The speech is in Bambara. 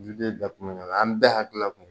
Juden bɛɛ kun bɛ ɲɔgɔn na an bɛɛ hakilila kun